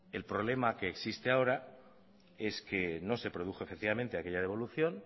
el problema que existe ahora es que no se produjo efectivamente aquella devolución